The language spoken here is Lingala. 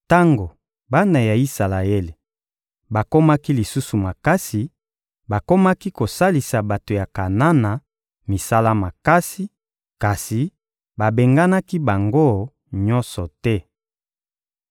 Tango bana ya Isalaele bakomaki lisusu makasi, bakomaki kosalisa bato ya Kanana misala makasi, kasi babenganaki bango nyonso te.